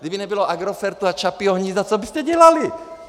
Kdyby nebylo Agrofertu a Čapího hnízda, co byste dělali?